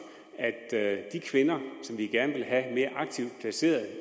at at de kvinder som vi gerne vil have mere aktivt placeret